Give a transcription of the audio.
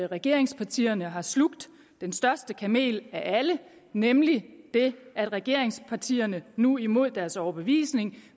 regeringspartierne har slugt den største kamel af alle nemlig den at regeringspartierne nu imod deres overbevisning